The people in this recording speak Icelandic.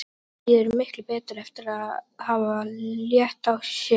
Henni líður miklu betur eftir að hafa létt á sér.